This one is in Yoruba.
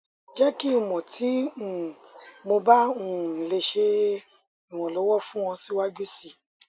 jẹ ki n mọ ti um mo ba um le ṣe iranlọwọ fun ọ siwaju sii